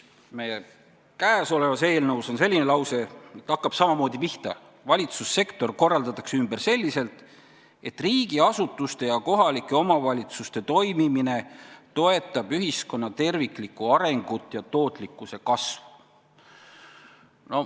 Käesolevas eelnõus on lause, mis hakkab samamoodi pihta: "Valitsussektor korraldatakse ümber selliselt, et riigiasutuste ja kohalike omavalitsuste toimimine toetab ühiskonna terviklikku arengut ja tootlikkuse kasvu.